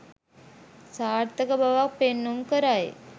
සාර්ථක බවක් පෙන්නුම් කරයි.